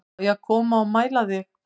Á ég að koma og mæla þig